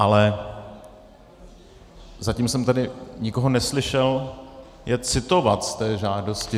Ale zatím jsem tady nikoho neslyšel je citovat z té žádosti.